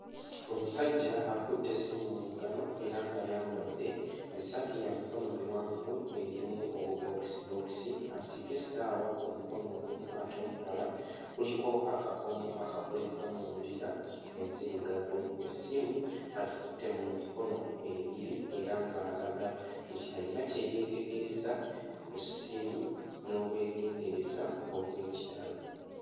Omusajja akutte essimu mu ngalo era ng'ayambadde essaati ya mikono miwanvu erimu obubookisibookisi. Asibye essaawa ku mukono ogumu ate omulala kuliko akakomo akakolebbwa mu mbira enzirugavu. Essimu agikutte mu mikono ebiri era nga alaga nti ayina kye yeetegereza ku ssimu n'obwegendereza obw'ekitalo.